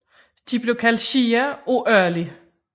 De blev kaldt shia af Ali